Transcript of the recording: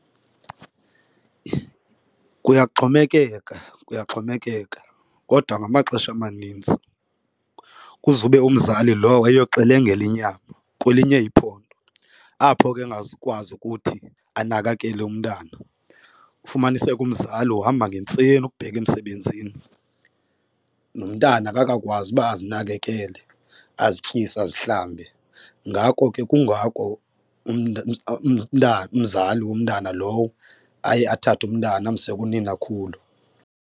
Kuyaxhomekeka, kuyaxhomekeka kodwa ngamaxesha amaninzi kuzobe umzali lowo eyoxelengela inyama kwelinye iphondo apho ke engazukwazi ukuthi anakekele umntana, ufumaniseke umzali uhamba ngentseni ukubheka emsebenzini nomntana akakakwazi uba azinakekele azityise azihlambe. Ngako ke kungako umntana umzali womntana lowo aye athathe umntana amse kuninakhulu.